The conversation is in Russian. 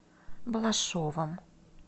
балашовым